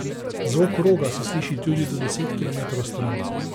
Zvok roga se sliši tudi do deset kilometrov stran.